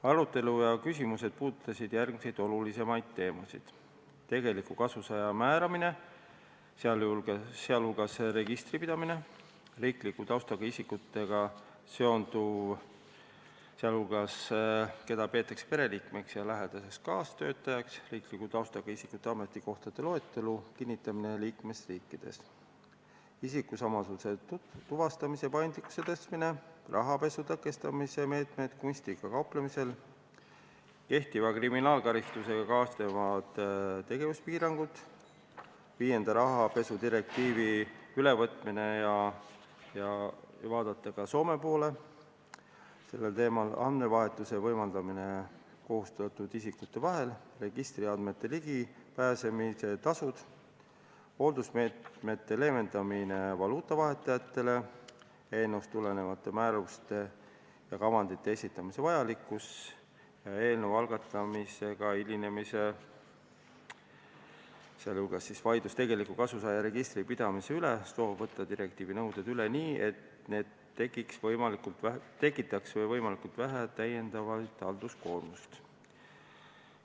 Arutelu ja küsimused puudutasid järgmisi olulisi teemasid: tegeliku kasusaaja määramine, sh registri pidamine; riikliku taustaga isikutega seonduv, sh keda peetakse pereliikmeks ja lähedaseks kaastöötajaks; riikliku taustaga isikute ametikohtade loetelu kinnitamine liikmesriikides; isikusamasuse tuvastamise paindlikkuse suurendamine; rahapesu tõkestamise meetmed kunstiga kauplemisel; kehtiva kriminaalkaristusega kaasnevad tegevuspiirangud; viienda rahapesudirektiivi ülevõtmine – vaadata sel teemal ka Soome poole; andmevahetuse võimaldamine kohustatud isikute vahel; registriandmetele ligipääsemise tasud; hooldusmeetmete leevendamine valuutavahetajate puhul; eelnõust tulenevate määruste ja kavandite esitamise vajalikkus; eelnõu algatamisega hilinemine, sh vaidlus tegeliku kasusaaja registri pidamise üle; soov võtta direktiivi nõuded üle nii, et need tekitaks võimalikult vähe täiendavat halduskoormust.